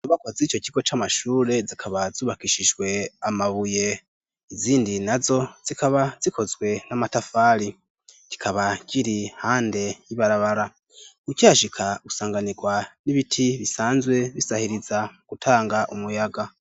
inyubakwa z'ico kigo c'amashure zikaba zubakishijwe amabuye. izindi nazo zikaba zikozwe mum'amatafari. kikaba kiri hande y'ibarabara. ukihashika usanganirwa n'ibiti bisanzwe bisahiriza m gutanga umuyaga.